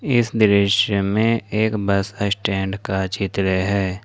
इस दृश्य में एक बस स्टैंड का चित्र है।